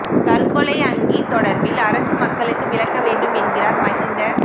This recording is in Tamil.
தற்கொலை அங்கி தொடர்பில் அரசு மக்களுக்கு விளக்க வேண்டும் என்கிறார் மஹிந்த